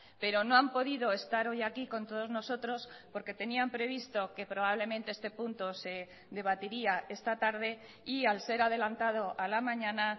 pero no han podido estar hoy aquí con todos nosotros porque tenían previsto que probablemente este punto se debatiría esta tarde y al ser adelantado a la mañana